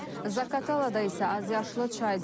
Zaqatalada isə azyaşlı çayda batıb.